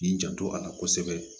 K'i janto a la kosɛbɛ